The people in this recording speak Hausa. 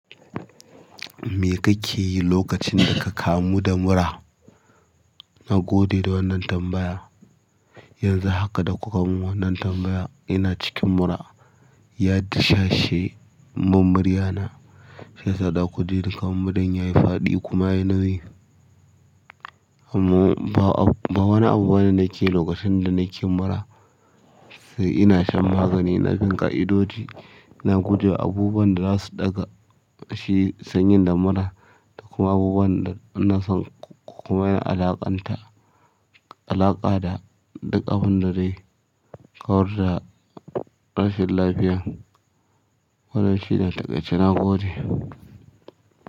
Me kake yi lokacin da ka kamu da mura? Na gode da wannan tambaya. Yanzu haka da kuka mun wannan tambaya ina cikin mura. Ya dishashe mun murya na, shiyasa zakujini kaman muran yayi faɗi kuma yayi nauyi. Amma ba wani abu bane nake yi lokacin da nake mura sai ina shan magani, ina bin ƙa'idoji, ina guje wa abubuwan da zasu daga shi sanyin da mura da kuma abubuwan da nasan kuma yana alaƙanta. Alaƙa da dukkan abunda dai kawar da rashin lafiya. Waɗanda shine takaice gode.